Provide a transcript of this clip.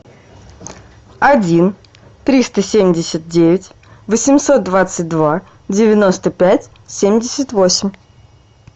один триста семьдесят девять восемьсот двадцать два девяносто пять семьдесят восемь